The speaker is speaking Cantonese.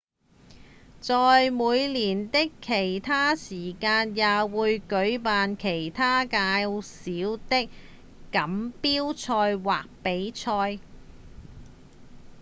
在每年的其它時間也會舉辦其它較小的錦標賽或比賽